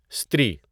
استری